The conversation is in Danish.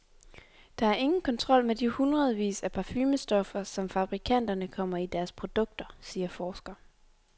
Der er ingen kontrol med de hundredvis af parfumestoffer, som fabrikanterne kommer i deres produkter, siger forsker.